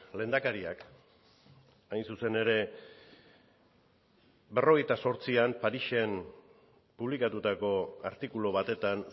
lehendakariak hain zuzen ere berrogeita zortzian parisen publikatutako artikulu batetan